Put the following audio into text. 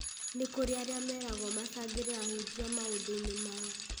nĩ kũrĩ arĩa meragwo macangĩre ahunjia maũndũ inĩ mao